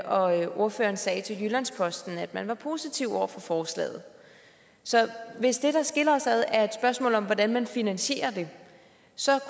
og ordføreren sagde til jyllands posten at man var positiv over for forslaget så hvis det der skiller os ad er et spørgsmål om hvordan man finansierer det så